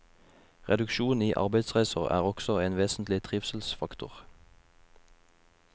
Reduksjon i arbeidsreiser er også en vesentlig trivselsfaktor.